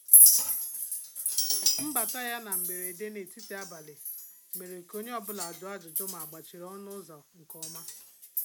Mbàtà yá na mberede n'etiti abalị mèrè kà onye ọ bụla jụọ ajụjụ mà àgbàchìrì ọnụ́ ụ́zọ̀ nke ọma.